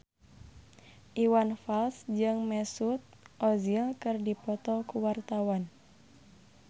Iwan Fals jeung Mesut Ozil keur dipoto ku wartawan